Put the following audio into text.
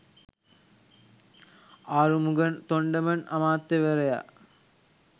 ආරුමුගන් තොන්ඩමන් අමාත්‍යවරයා